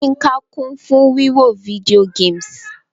Yínká kun fun wiwo video games: